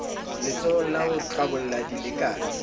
letsholong la ho tlabola dilekane